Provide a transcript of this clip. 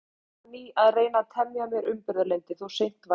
Hét ég því enn á ný að reyna að temja mér umburðarlyndi, þó seint væri.